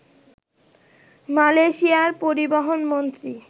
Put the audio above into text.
মালয়েশিয়ার পরিবহন মন্ত্রী